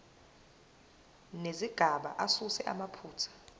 nezigaba asuse amaphutha